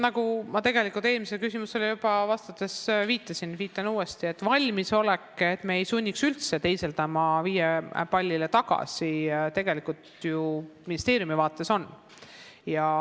Jah, ma tegelikult eelmisele küsimusele vastates juba viitasin sellele ja viitan uuesti, et valmisolek, et me ei sunniks üldse teisendama hindeid viiele pallile, on ministeeriumi vaates olemas.